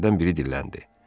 Kişilərdən biri dilləndi.